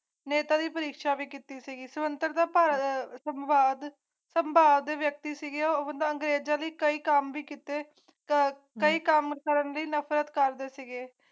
ਨੇਤਾ ਦੀ ਪ੍ਰੀਖਿਆ ਵੀ ਕੀਤੀ ਸੀ ਇਸ ਤੋਂ ਇਕ ਅਖਬਾਰ ਦੇ ਵਿਅਕਤੀ ਸੀ ਕਿ ਉਹ ਅੰਗਰੇਜ਼ ਅਧਿਕਾਰੀ ਕੰਮ ਕੀਤੇ ਕਈ ਕੰਮ ਕਰਨ ਲਈ ਨਫ਼ਰਤ ਕਰਦੇ ਸੀਗੇ